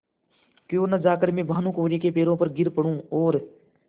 क्यों न जाकर मैं भानुकुँवरि के पैरों पर गिर पड़ूँ और